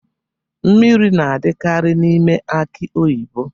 Mmiri na-adikari n'ime aki oyibo.